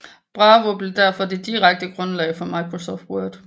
Bravo blev derfor det direkte grundlag for Microsoft Word